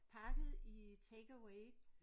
Pakket i take away